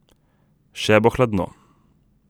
Še bo hladno.